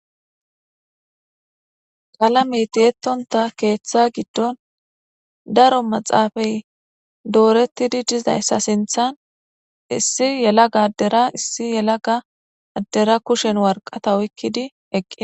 qalamey tiyettonta keeththa giddon daro maxaafay doorettidi dizayssa sinthan issi yelaga addera issi yelaga addera kushen warqata oykkidi eqqida.